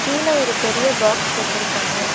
கீழ ஒரு பெரிய பாக்ஸ் வெச்சிருக்காங்க.